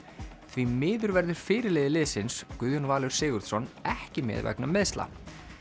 því miður verður fyrirliði liðsins Guðjón Valur Sigurðsson ekki með vegna meiðsla